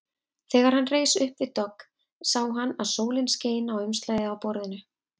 Þegar hann reis upp við dogg sá hann að sólin skein á umslagið á borðinu.